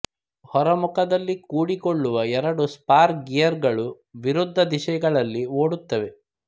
ಹೊರ ಮುಖದಲ್ಲಿ ಕೂಡಿಕೊಳ್ಳುವ ಎರಡು ಸ್ಪರ್ ಗಿಯರುಗಳು ವಿರುದ್ಧ ದಿಶೆಗಳಲ್ಲಿ ಓಡುತ್ತವೆ